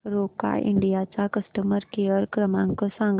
Roca India चा customer care क्रमांक सांगा